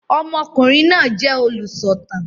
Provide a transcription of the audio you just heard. Ọmọkùnrin náà jẹ olúsọ̀tàn